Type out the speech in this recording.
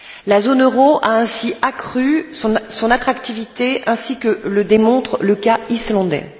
La zone euro a ainsi accru son attractivité, comme le démontre le cas islandais.